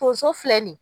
Tonso filɛ nin ye